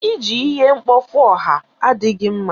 Iji ihe mkpofu ọha adịghị mma.